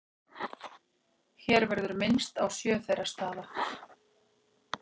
hér verður minnst á sjö þeirra staða